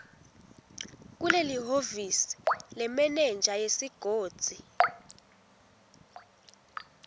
kulelihhovisi lemenenja yesigodzi